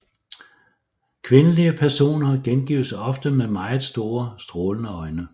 Kvindelige personer gengives ofte med meget store strålende øjne